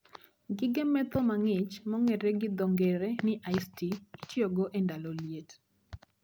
Gige medho mang'ich mong'ere gi dho ng'ere ni ice tea itiyogo e ndalo liet